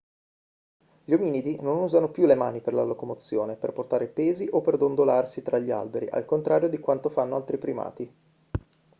gli ominidi non usano più le mani per la locomozione per portare pesi o per dondolarsi tra gli alberi al contrario di quanto fanno altri primati